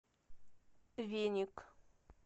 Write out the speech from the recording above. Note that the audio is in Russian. веник